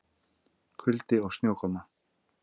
Kuldi og snjókoma